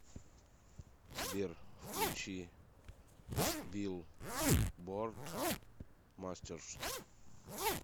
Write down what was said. сбер включи билборд мастерс